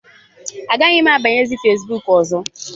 Agaghị m abanyezi Fesbuk ọzọ.